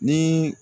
Ni